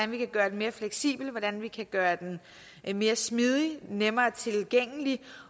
man kan gøre den mere fleksibel og hvordan man kan gøre den mere smidig og nemmere tilgængelig